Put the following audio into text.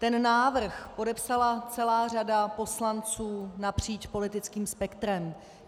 Ten návrh podepsala celá řada poslanců napříč politickým spektrem.